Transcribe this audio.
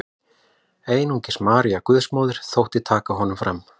Einungis María Guðsmóðir þótti taka honum fram.